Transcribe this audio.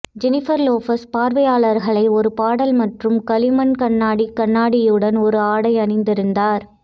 Jennifer Lopez பார்வையாளர்களை ஒரு பாடல் மற்றும் களிமண் கண்ணாடிக் கண்ணாடியுடன் ஒரு ஆடை அணிந்திருந்தார்